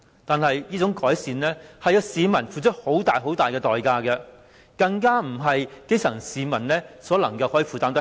但是，這種改善需要市民付出很大代價，更不是基層市民所能負擔的。